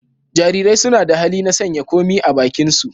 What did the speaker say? Jarirai suna da hali na sanya komai a bakinsu.